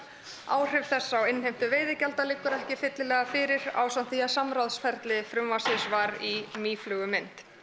áhrif þess á innheimtu veiðigjalda liggur ekki fyllilega fyrir ásamt því að samráðsferli frumvarpsins var í mýflugumynd